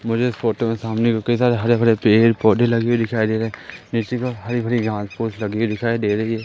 मुझे इस फोटो में सामने में कई सारे हरे भरे पेड़ पौधे लगे हुए दिखाई दे रहे हैं हरी भरी घास फूस लगी हुई दिखाई दे रही--